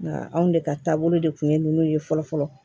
Nka anw de ka taabolo de kun ye ninnu ye fɔlɔ fɔlɔ